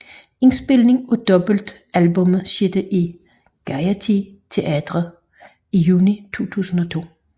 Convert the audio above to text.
Indspilningen af dobbeltalbummet skete i Gaiety Theatre i juni 2002